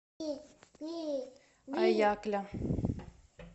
аякля